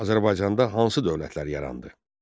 Azərbaycanda hansı dövlətlər yarandı?